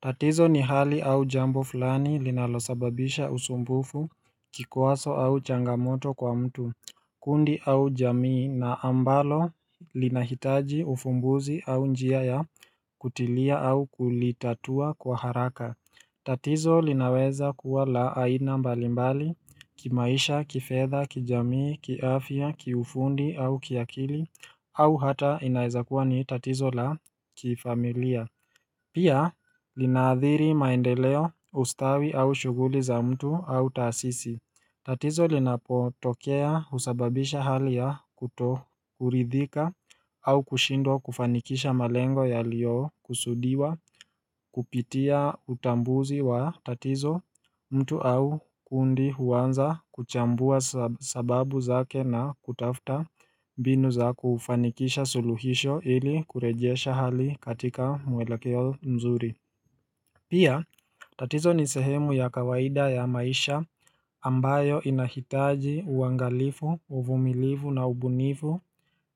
Tatizo ni hali au jambo fulani linalosababisha usumbufu, kikwazo au changamoto kwa mtu kundi au jamii na ambalo linahitaji ufumbuzi au njia ya kutilia au kulitatua kwa haraka tatizo linaweza kuwa la aina mbalimbali kimaisha, kifedha, kijamii, kiafya, kiufundi au kiakili au hata inaeza kuwa ni tatizo la kifamilia Pia linaathiri maendeleo, ustawi, au shughuli za mtu au taasisi tatizo linapotokea husababisha hali ya kutokuridhika au kushindwa kufanikisha malengo yaliyokusudiwa kupitia utambuzi wa tatizo mtu au kundi huanza kuchambua sababu zake na kutafuta mbinu za kufanikisha suluhisho ili kurejesha hali katika mwelekeo mzuri Pia, tatizo ni sehemu ya kawaida ya maisha ambayo inahitaji uangalifu, uvumilifu na ubunifu